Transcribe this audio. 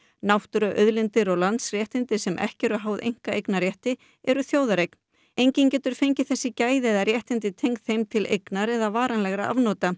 náttúruauðlindir og landsréttindi sem ekki eru háð einkaeignarrétti eru þjóðareign enginn getur fengið þessi gæði eða réttindi tengd þeim til eignar eða varanlegra afnota